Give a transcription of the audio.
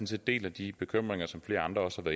set deler de bekymringer som flere andre også har